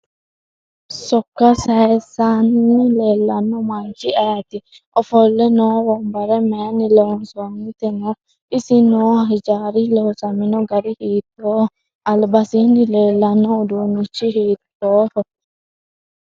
Sokka sayiisanni leellanno manchi ayiiti ofolle noo wonbare mayiini loosantinote isi noo hijaari loosamino gari hiitooho albasiini leelanno uduunichi hiitoohi